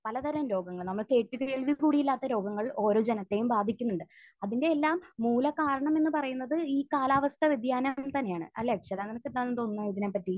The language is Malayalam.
പല തരാം രോഗങ്ങൾ. നമ്മൾ കേട്ടിട്ടില്ലെങ്കിലും കൂടെ ഇല്ലാത്ത രോഗങ്ങൾ ഓരോ ജനത്തെയും ബാധിക്കുന്നുണ്ട്. അതിന്റെയെല്ലാം മൂല കാരണം എന്ന് പറയുന്നത് ഈ കാലാവസ്ഥാവ്യതിയാനം തന്നെയാണ്. അല്ലെ? അർച്ചനയ്ക്ക് എന്ത് തോന്നുന്നു ഇതിനെപ്പറ്റി?